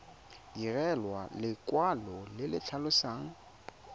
direlwa lekwalo le le tlhalosang